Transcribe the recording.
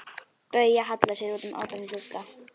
Bauja hallar sér út um opinn glugga.